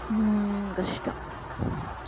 உம் கஷ்டம்